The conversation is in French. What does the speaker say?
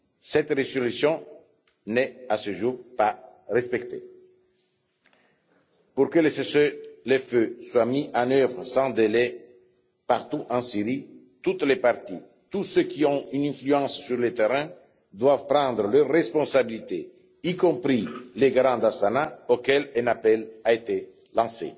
Cette résolution n'est à ce jour pas respectée. Pour que le cessez le feu soit mis en œuvre sans délai partout en Syrie, toutes les parties, tous ceux qui ont une influence sur le terrain doivent prendre leurs responsabilités, y compris les garants d'Astana auxquels un appel a été lancé.